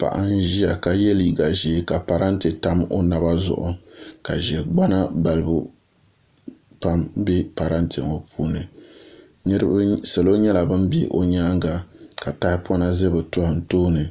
Paɣa n ʒiya ka yɛ liiga ʒiɛ ka parantɛ tam o naba zuɣu ka ʒɛgbana balibu pam bɛ parantɛ ŋo puuni salo nyɛla bin bɛ o nyaanga ka tahapona ʒɛ bi tooni